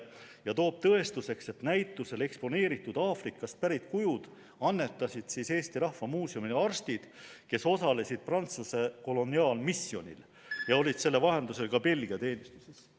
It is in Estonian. Ta toob tõestuseks, et näitusel eksponeeritud Aafrikast pärit kujud annetasid Eesti Rahva Muuseumile arstid, kes osalesid Prantsuse koloniaalmisjonil ja olid selle vahendusel ka Belgia teenistuses.